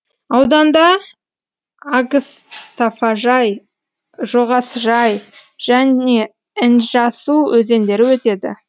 ауданда агстафажай жоғасжай және інжасу өзендері өтеді